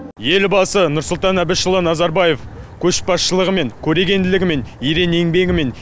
елбасы нұрсұлтан әбішұлы назарбаев көшбасшылығымен көрегенділігімен ерен еңбегімен